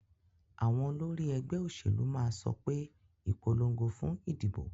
Àwon olórí egbé òsèlú máà sopé, "Ìpolongo fún ìdìbò"